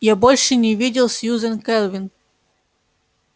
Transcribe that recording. я больше не видел сьюзен кэлвин